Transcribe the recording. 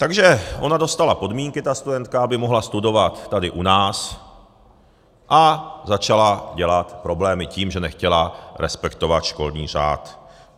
Takže ona dostala podmínky, ta studentka, aby mohla studovat tady u nás, a začala dělat problémy tím, že nechtěla respektovat školní řád.